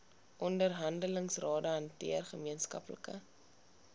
onderhandelingsrade hanteer gemeenskaplike